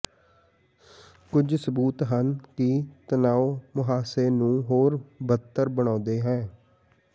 ਕੁਝ ਸਬੂਤ ਹਨ ਕਿ ਤਣਾਉ ਮੁਹਾਂਸੇ ਨੂੰ ਹੋਰ ਬਦਤਰ ਬਣਾਉਂਦਾ ਹੈ